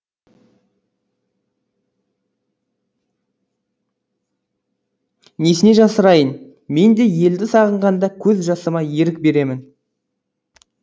несіне жасырайын мен де елді сағынғанда көз жасыма ерік беремін